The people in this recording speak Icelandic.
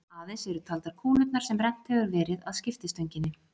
Aðeins eru taldar kúlurnar sem rennt hefur verið að skiptistönginni.